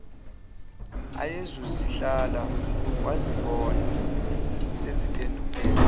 ayezozihlala wazibona seziphenduke